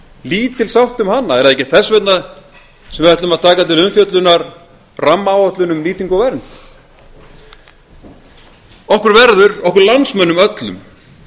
lítil sátt um hana er það ekki þess vegna sem við ætlum að taka til umfjöllunar rammaáætlun um nýtingu og vernd okkur verður okkur landsmönnum öllum